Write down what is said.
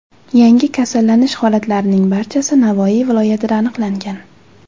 Yangi kasallanish holatlarining barchasi Navoiy viloyatida aniqlangan.